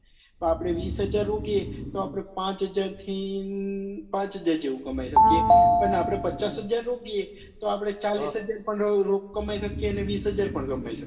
આપડે વીસ હજાર રોકીએ તો આપડે પાંચ હજાર થી પાંચ હજાર જેવું કમાઈ શકીએ તેમાં આપડે પચાસ હજાર રોકીએ તો આપડે ચાલીશ હજાર પણ કમાઈ શકીએ ને વીસ હજાર પણ કમાઈ શકીએ